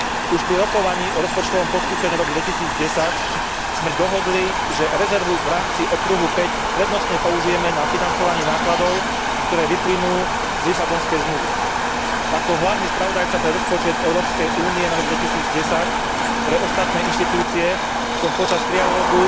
Už pri rokovaní o rozpočtovom postupe na rok 2010 sme dohodli, že rezervu v rámci okruhu 5 prednostne použijeme na financovanie nákladov, ktoré vyplynú z Lisabonskej zmluvy. Ako hlavný spravodajca pre rozpočet Európskej únie na rok 2010 pre ostatné inštitúcie som počas trialógu